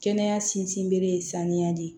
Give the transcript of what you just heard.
Kɛnɛya sinsin bere ye sanuya de